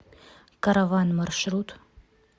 караван маршрут